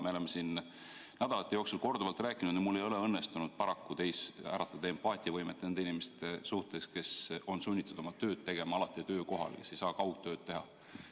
Me oleme siin nädalate jooksul sellest korduvalt rääkinud, aga mul ei ole paraku õnnestunud äratada teis empaatiat nende inimeste suhtes, kes on sunnitud oma tööd tegema töökohal, kes ei saa kaugtööd teha.